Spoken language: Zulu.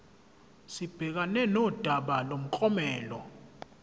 sibhekane nodaba lomklomelo